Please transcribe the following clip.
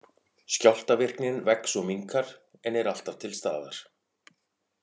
Skjálftavirknin vex og minnkar, en er alltaf til staðar.